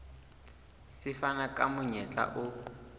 se fana ka monyetla o